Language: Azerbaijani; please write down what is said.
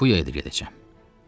Kapuya da gedəcəyəm.